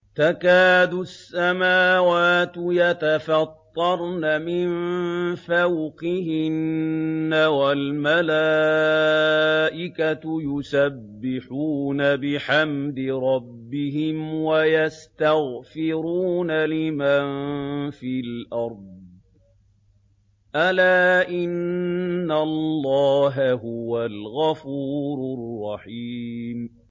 تَكَادُ السَّمَاوَاتُ يَتَفَطَّرْنَ مِن فَوْقِهِنَّ ۚ وَالْمَلَائِكَةُ يُسَبِّحُونَ بِحَمْدِ رَبِّهِمْ وَيَسْتَغْفِرُونَ لِمَن فِي الْأَرْضِ ۗ أَلَا إِنَّ اللَّهَ هُوَ الْغَفُورُ الرَّحِيمُ